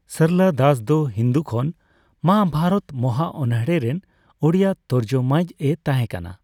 ᱥᱚᱨᱚᱞᱟ ᱫᱟᱥ ᱫᱚ ᱦᱤᱱᱫᱩ ᱠᱷᱚᱱ ᱢᱚᱦᱟᱵᱷᱟᱨᱚᱛ ᱢᱚᱦᱟ ᱚᱱᱚᱬᱦᱮ ᱨᱮᱱ ᱳᱲᱤᱭᱟ ᱛᱚᱨᱡᱚᱢᱟᱭᱤᱡ ᱮ ᱛᱟᱦᱮᱸ ᱠᱟᱱᱟ ᱾